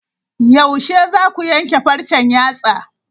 Yaushe zaku yanke farcen yatsa?